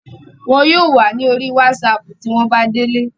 wọn yóò wà ní orí wásapù tí wọ́n bá délé